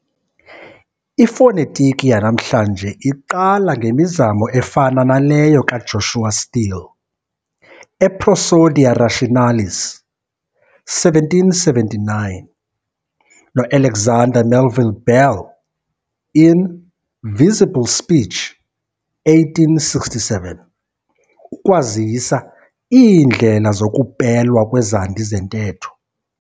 Ifonetiki yanamhla iqala ngemizamo efana naleyo kaJoshua Steele, e"Prosodia Rationalis", 1779, noAlexander Melville Bell, in "Visible Speech", 1867, ukwazisa iindlela zokupelwa kwezandi zentetho.